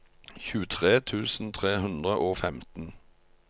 tjuetre tusen tre hundre og femten